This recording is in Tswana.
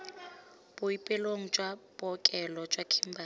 boapeelong jwa bookelo jwa kimberley